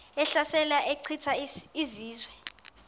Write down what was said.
ehlasela echitha izizwe